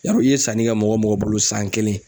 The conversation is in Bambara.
Yarɔ i ye sanni kɛ mɔgɔ mɔgɔ bolo san kelen